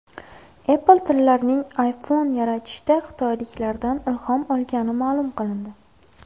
Apple tillarang iPhone yaratishda xitoyliklardan ilhom olgani ma’lum qilindi.